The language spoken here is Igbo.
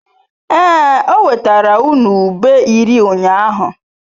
Ee, o wetara unu ube iri ụnyahụ.